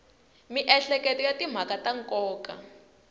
miehleketo ya timhaka ta nkoka